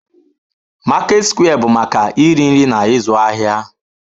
Market square bụ maka iri nri na ịzụ ahịa